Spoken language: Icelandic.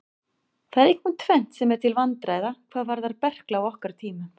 Það er einkum tvennt sem er til vandræða hvað varðar berkla á okkar tímum.